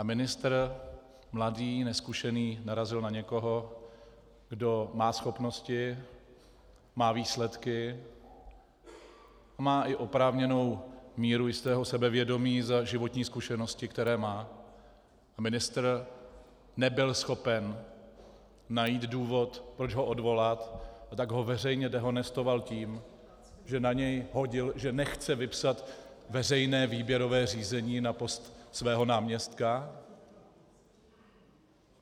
A ministr, mladý, nezkušený, narazil na někoho, kdo má schopnosti, má výsledky a má i oprávněnou míru jistého sebevědomí za životní zkušenosti, které má, a ministr nebyl schopen najít důvod, proč ho odvolat, a tak ho veřejně dehonestoval tím, že na něj hodil, že nechce vypsat veřejné výběrové řízení na post svého náměstka.